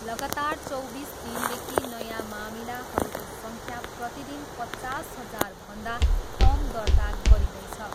लगातार चौबिस दिनदेखि नयाँ मामिलाहरूको सङ्ख्या प्रतिदिन पचास हजारभन्दा कम दर्ता गरिँदैछ।